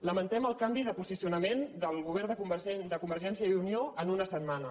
lamentem el canvi de posi·cionament del govern de convergència i unió en una setmana